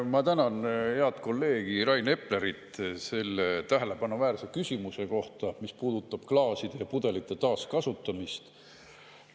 Ma tänan head kolleegi Rain Eplerit selle tähelepanuväärse küsimuse eest, mis puudutas klaaside ja pudelite taaskasutamist.